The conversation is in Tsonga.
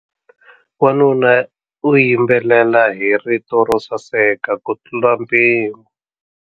Wanuna u yimbelela hi rito ro saseka kutlula mpimo.